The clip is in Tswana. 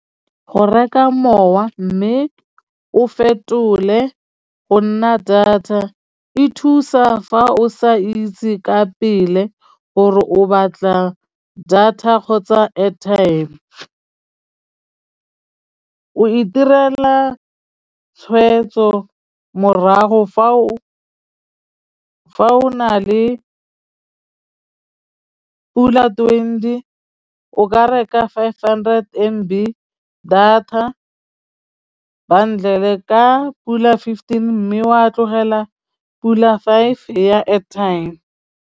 Go reka mowa mme o fetole go nna data e thusa fa o sa itse ka pele gore o batla data kgotsa airtime, o itirela tshweetso morago fa o na le pula twenty o ka reka five hundred M B data bundle ka pula fifteen mme wa tlogela pula five ya airtime.